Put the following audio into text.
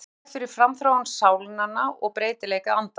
Hún kemur í veg fyrir framþróun sálnanna og breytileik andans.